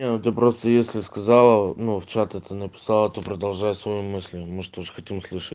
не ну ты просто если сказала ну в чат это написала то продолжай свою мысль мы ж тоже хотим услышать